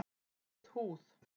Rauð húð